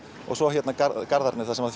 og svo hérna Garðarnir þar sem